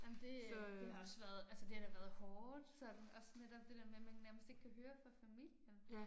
Ej men det det har også været altså det har da været hårdt sådan også netop det der med man nærmest ikke kan høre fra familien